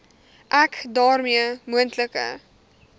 ek daarmee moontlike